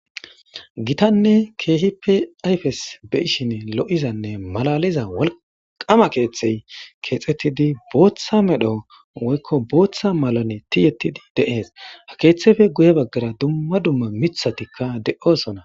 Gitanne keehipe ayfes beyishin lo7izanne malaliza walqama keeththey keexettidi booththa medho woykko booththa malane tiyettidi deees ha keeththefe guye baggara dumma dumma mithatikka de7osona.